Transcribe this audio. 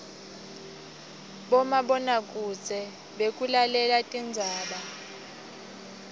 bomabonakudze bekubukela tindzaba